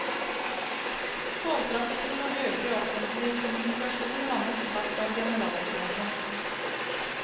Togtrafikken og øvrig offentlig kommunikasjon rammes hardt av generalstreiken.